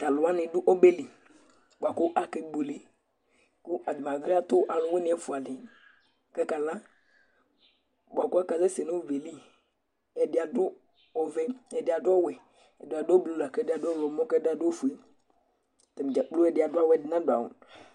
Tʋ alʋ wanɩ dʋ ɔbɛ li bʋa kʋ akebuele Atanɩ bɩ atʋ alʋwɩnɩ ɛfʋa dɩ kʋ akala bʋa kʋ akasɛsɛ nʋ ɔbɛ yɛ li Ɛdɩ adʋ ɔvɛ, ɛdɩ adʋ ɔwɛ, ɛdɩ adʋ oblu la kʋ ɛdɩ adʋ ɔɣlɔmɔ kʋ ɛdɩ adʋ ofue Atanɩ dza kplo ɛdɩ adʋ awʋ, ɛdɩ nadʋ awʋ